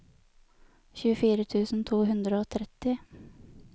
tjuefire tusen to hundre og tretti